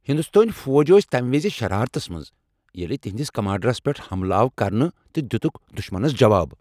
ہنٛدستٲنۍ فوجی ٲسۍ تمہ وز شرارتس منٛز ییٚلہ تہنٛدس کمانڈرس پٮ۪ٹھ حملہٕ آو کرنہٕ تہٕ دِتھکھ دشمنس جواب۔